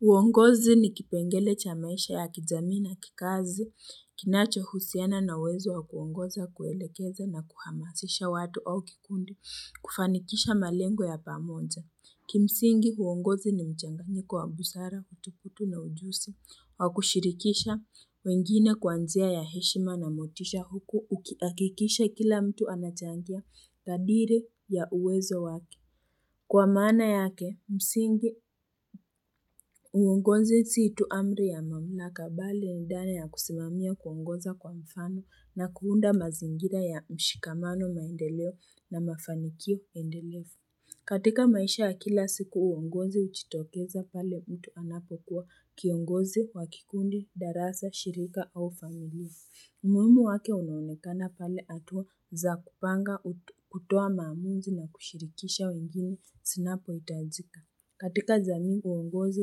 Uongozi ni kipengele cha maisha ya kijamii na kikazi, kinachohusiana na uwezo wa kuongoza, kuelekeza na kuhamasisha watu au kikundi kufanikisha malengo ya pamoja. Kimsingi uongozi ni mchanganyiko wa busara, utukutu na ujusi, wa kushirikisha wengine kwa njia ya heshima na motisha huku ukihakikisha kila mtu anachangia kadiri ya uwezo wake. Kwa maana yake, msingi, uongozi si tu amri ya mamlaka bali ni dhana ya kusimamia kuongoza kwa mfano na kuunda mazingira ya mshikamano maendeleo na mafanikio endelefu. Katika maisha ya kila siku, uongozi hujitokeza pale mtu anapo kuwa kiongozi, wa kikundi, darasa, shirika au familia. Umuhimu wake unaonekana pale hatua za kupanga kutoa maamuzi na kushirikisha wengine zinapohitajika. Katika jamii uongozi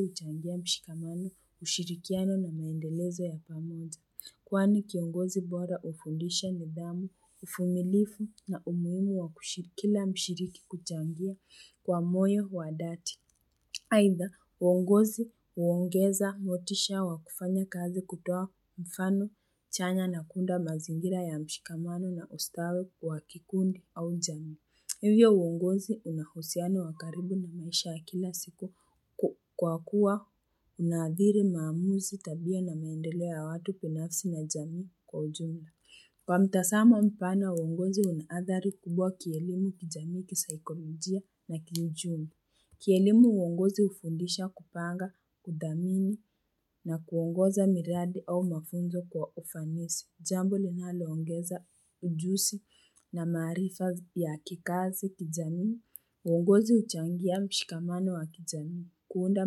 huchangia mshikamani, ushirikiano na maendelezo ya pamoja. Kwani kiongozi bora hufundisha nidhamu, uvumilivu na umuhimu wa kushiri kila mshiriki kuchangia kwa moyo wa dhati. Aidha, uongozi huongeza motisha wa kufanya kazi kutoa mfano chanya na kuunda mazingira ya mshikamano na ustawi wa kikundi au jamii. Hivyo uongozi una uhusiano wa karibu na maisha ya kila siku kwa kuwa unadhiri maamuzi tabia na maendeleo ya watu kwa nafsi na jamii kwa ujumla. Kwa mtazamo mpana, uongozi una hadhari kubwa kielimu, kijamii, kisaikolojia na kiuchumi. Kielimu uongozi hufundisha kupanga, kudhamini na kuongoza miradi au mafunzo kwa ufanisi, jambo linalo ongeza ujusi na maarifa ya kikazi kijamii. Uongozi huchangia mshikamano wa kijamii, kuunda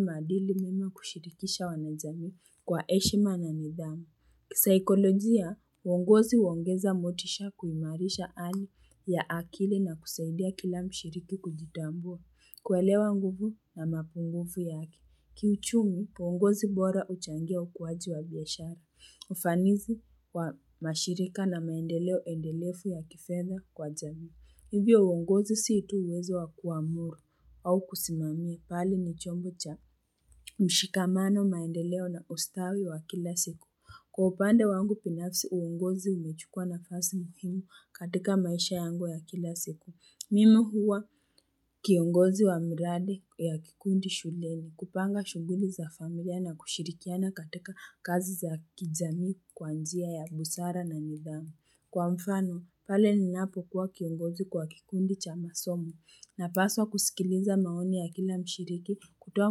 madili mema kushirikisha wanajamii kwa heshima na nidhamu. Kisaikolojia, uongozi huongeza motisha kuimarisha hali ya akili na kusaidia kila mshiriki kujitambua. Kuelewa nguvu na mapunguvu yake. Kiuchumi, uongozi bora huchangia ukuwaji wa biashara. Ufanisi wa mashirika na maendeleo endelefu ya kifedha kwa jamii. Hivyo uongozi si tu uwezo wa kuamuru au kusimamia, bali ni chombo cha mshikamano, maendeleo na ustawi wa kila siku. Kwa upande wangu binafsi uongozi umechukua nafasi muhimu katika maisha yangu ya kila siku. Mimi huwa kiongozi wa miradi ya kikundi shuleni, kupanga shughuli za familia na kushirikiana katika kazi za kijamii kwa njia ya busara na nidhamu. Kwa mfano, pale ninapokuwa kiongozi kwa kikundi cha masomo napaswa kusikiliza maoni ya kila mshiriki kutoa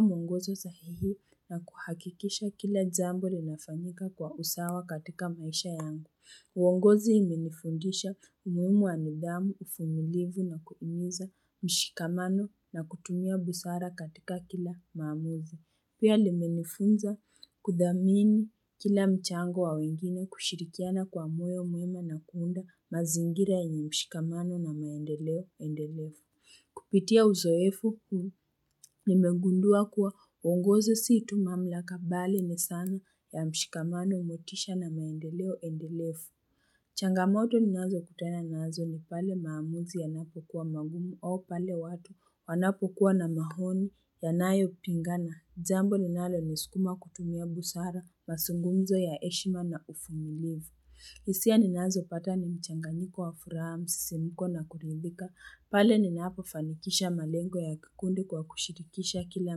mwongozo sahihi na kuhakikisha kila jambo linafanyika kwa usawa katika maisha yangu. Uongozi imenifundisha umuhimu wa nidhamu, uvumilivu na kuhimiza mshikamano na kutumia busara katika kila maamuzi. Pia limenifunza kudhamini kila mchango wa wengine kushirikiana kwa moyo mwema na kuunda mazingira yenye mshikamano na maendeleo endelefu. Kupitia uzoefu nimengundua kuwa uongozi si tu mamlaka, bali ni sana ya mshikamano, motisha na maendeleo endelefu Changamoto ninazo kutana nazo ni pale maamuzi yanapo kuwa magumu au pale watu wanapokuwa na maoni yanayopingana. Jambo ninalonisukuma kutumia busara mazungumzo ya heshima na uvumilivu. Hisia ninazopata ni mchanganiko wa furaha, msisimko na kuridhika, pale ninapo fanikisha malengo ya kikundi kwa kushirikisha kila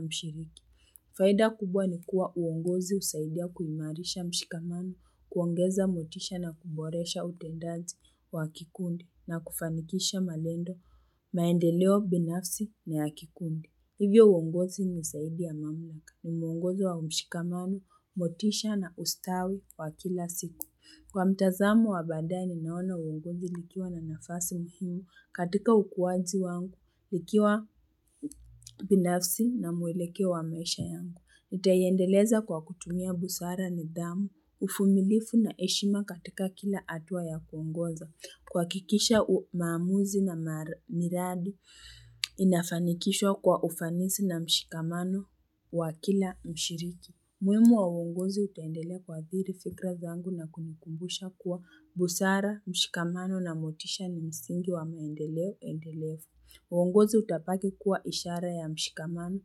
mshiriki. Faida kubwa ni kuwa uongozi husaidia kuimarisha mshikamano, kuongeza motisha na kuboresha utendaji wa kikundi na kufanikisha malengo, maendeleo binafsi na ya kikundi. Hivyo uongozi ni ushahidi ya maamlaka. Ni muongozo wa mshikamano, motisha na ustawi wa kila siku. Kwa mtazamo wa baadaye nimeona uongozi likiwa na nafasi muhimu katika ukuaji wangu, ikiwa binafsi na mwelekeo wa maisha yangu. Nitaiendeleza kwa kutumia busara nidhamu, uvumilivu na heshima katika kila hatua ya kuongoza. Kuhakikisha maamuzi na miradi inafanikishwa kwa ufanisi na mshikamano wa kila mshiriki. Muhimu wa uongozi utaendelea kuathiri fikra zangu na kunikumbusha kuwa busara, mshikamano na motisha ni msingi wa maendeleo endelefu. Uongozi utabaki kuwa ishara ya mshikamano,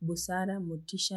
busara, motisha na motisha.